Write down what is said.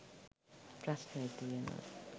ප්‍රශ්න ඇතිවෙනවා.